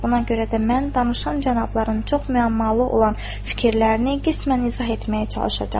Buna görə də mən danışan cənabların çox müəmmalı olan fikirlərini qismən izah etməyə çalışacağam.